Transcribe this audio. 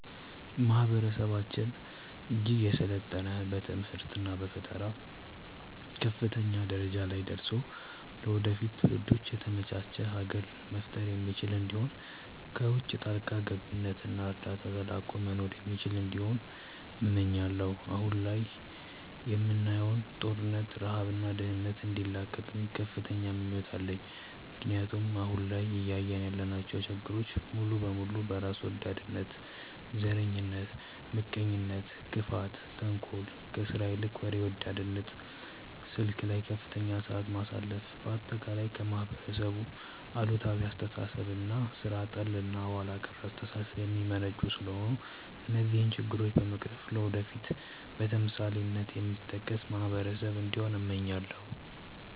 ማህበረሰባችን እጅግ የሰለጠነ በትምህርት እና በፈጠራ ከፍተኛ ደረጃ ላይ ደርሶ ለወደፊት ትውልዶች የተመቻች ሀገር መፍጠር የሚችል እንዲሁም ከውቺ ጣልቃ ገብነት እና እርዳታ ተላቆ መኖር የሚችል እንዲሆን እመኛለው። አሁን ላይ የምናየውን ጦርነት፣ ረሃብ እና ድህነት እንዲላቀቅም ከፍተኛ ምኞት አለኝ ምክንያቱም አሁን ላይ እያየን ያለናቸው ችግሮች ሙሉ በሙሉ በራስ ወዳድነት፣ ዘረኝነት፣ ምቀኝነት፣ ክፋት፣ ተንኮል፣ ከስራ ይልቅ ወሬ ወዳድነት፣ ስልክ ላይ ከፍተኛ ሰዓት ማሳለፍ፣ በአጠቃላይ ከማህበረሰብ አሉታዊ አስተሳሰብ እና ሥራ ጠል እና ኋላ ቀር አስተሳሰብ የሚመነጩ ስለሆነ እነዚህን ችግሮች በመቅረፍ ለወደፊት በተምሳሌትነት የሚጠቀስ ማህበረሰብ እንዲሆን እመኛለው።